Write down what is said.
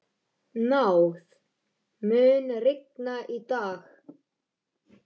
Náð, mun rigna í dag?